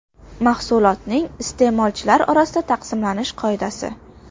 Mahsulotning iste’molchilar orasida taqsimlanish qoidasi.